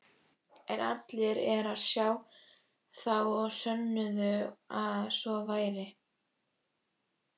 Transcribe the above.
En allir er sá, þá sönnuðu að svo væri.